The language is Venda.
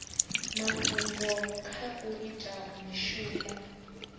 mafhungo kha u ita mishumo